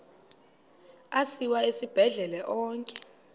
asiwa esibhedlele onke